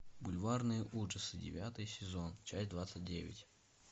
бульварные ужасы девятый сезон часть двадцать девять